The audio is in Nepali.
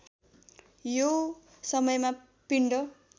यो समयमा पिण्ड